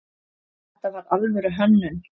Þetta var alvöru hönnun.